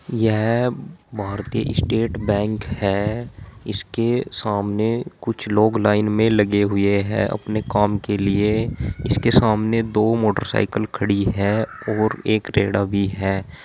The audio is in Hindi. यह भारतीय स्टेट बैंक है। इसके सामने कुछ लोग लाइन में लगे हुए हैं अपने काम के लिए। इसके सामने दो मोटरसाइकल खड़ी है और एक रेड़ा भी है।